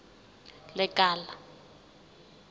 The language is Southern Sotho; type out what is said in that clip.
lekala